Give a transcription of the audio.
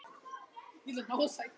Já, það er mest hættan á því.